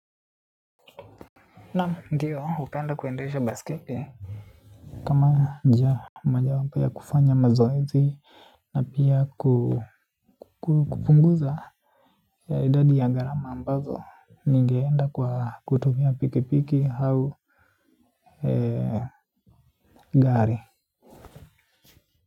Naam ndiyo hupenda kuendesha baiskeli kama njia moja wapo ya kufanya mazoezi na pia kupunguza ya idadi ya gharama ambazo ningeenda kwa kutumia pikipiki au gari.